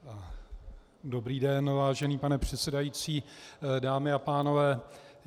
Dobrý den, vážený pane předsedající, dámy a pánové.